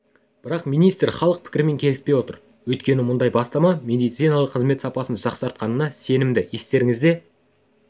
бірақ министр халық пікірімен келіспей отыр өйткені мұндай бастама медициналық қызмет сапасын жақсартатынына сенімді естеріңізге